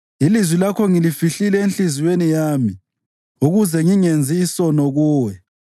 Ilizwi lakho ngilifihlile enhliziyweni yami ukuze ngingenzi isono kuwe.